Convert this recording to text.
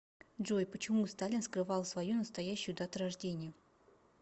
джой почему сталин скрывал свою настоящую дату рождения